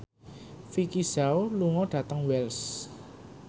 Vicki Zao lunga dhateng Wells